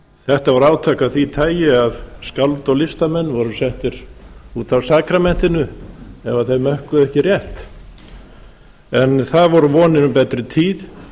þetta voru átök af því tagi að skáld og listamenn voru settir út af sakramentinu ef þeir mökkuðu ekki rétt en það voru vonir um betri tíð